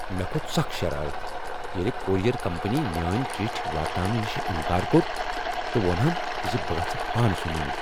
مےٚ کھوٚت شرارتھ ییٚلہ کوریر کمپنی میٲنۍ چٹھۍ واتناونہ نشہ انکار کوٚر تہٕ ووٚنہم ز بہٕ گژھہِ پانہٕ سُہ ننہِ ۔